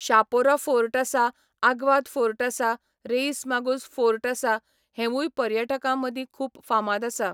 Chapora fort आसा Aguada fort आसा Reis Magos fort आसा हेंवूय पर्यटकां मदीं खुब फामाद आसा.